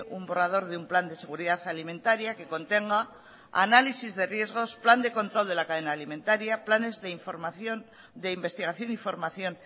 un borrador de un plan de seguridad alimentaria que contenga análisis de riesgos plan de control de la cadena alimentaria planes de información de investigación y formación